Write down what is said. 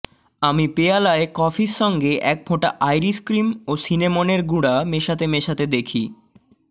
আমি পেয়ালায় কফির সঙ্গে এক ফোঁটা আইরিশ ক্রিম ও সিনেমনের গুড়া মেশাতে মেশাতে দেখি